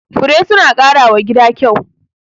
Fure suna ƙara wa gida kyau.